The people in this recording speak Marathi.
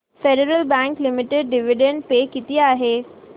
federal Bank Limited dividend pay किती आहे